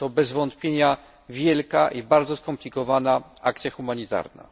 Jest to bez wątpienia wielka i bardzo skomplikowana akcja humanitarna.